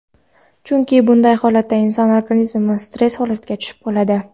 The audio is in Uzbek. chunki bunday holatda inson organizmi stress holatiga tushib qoladi.